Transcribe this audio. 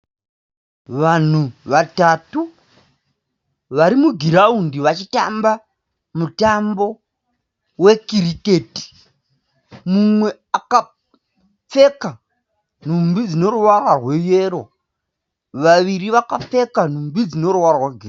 Vangu vatatu vari mugiraundi vachitamba mutambo wekiriketi. Mumwe akapfeka nhumbi dzine ruvara rweyero. Vaviri vakapfeka nhumbi dzine ruvara rwegirini